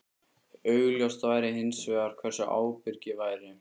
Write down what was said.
Augljóst væri hins vegar hversu ábyrg ég væri.